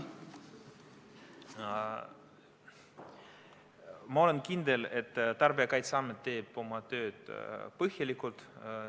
Ma olen kindel, et Tarbijakaitseamet teeb oma tööd põhjalikult.